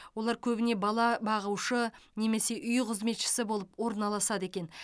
олар көбіне бала бағушы немесе үй қызметшісі болып орналасады екен